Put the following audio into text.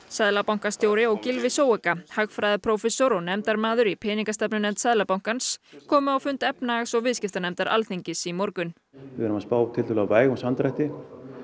seðlabankastjóri og Gylfi Zöega hagfræðiprófessor og nefndarmaður í peningastefnunefnd Seðlabankans komu á fund efnhags og viðskiptanefndar Alþingis í morgun við erum að spá tiltölulega vægum samdrætti